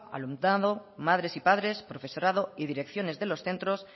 al alumnado madres y padres profesorado y direcciones de los centros